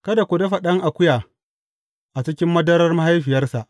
Kada ku dafa ɗan akuya a cikin madarar mahaifiyarsa.